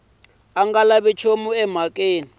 pfa a huma emhakeni kambe